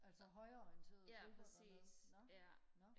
altså højreorienterede grupper dernede nå nå